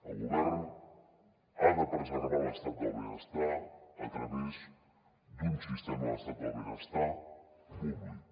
el govern ha de preservar l’estat del benestar a través d’un sistema de l’estat del benestar públic